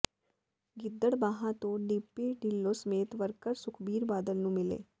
ਗਿੱਦੜਬਾਹਾ ਤੋਂ ਡਿੰਪੀ ਿਢੱਲੋਂ ਸਮੇਤ ਵਰਕਰ ਸੁਖਬੀਰ ਬਾਦਲ ਨੂੰ ਮਿਲੇ